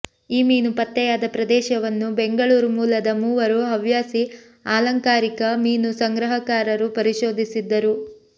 ಈ ಮೀನು ಪತ್ತೆಯಾದ ಪ್ರದೇಶವನ್ನು ಬೆಂಗಳೂರು ಮೂಲದ ಮೂವರು ಹವ್ಯಾಸಿ ಆಲಂಕಾರಿಕ ಮೀನು ಸಂಗ್ರಹಕಾರರು ಪರಿಶೋಧಿಸಿದ್ದರು